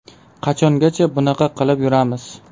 Qachongacha bunaqa qilib yuramiz?!